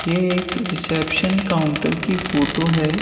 ये एक reception counter की फोटो है।